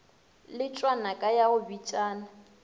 letšwa naka ya go bitšana